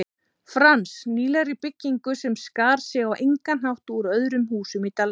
Frans, nýlegri byggingu sem skar sig á engan hátt úr öðrum húsum í dalnum.